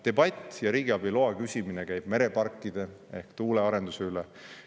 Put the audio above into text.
Debatt ja riigiabi loa küsimine käib mereparkide ehk tuuleparkide arenduse üle.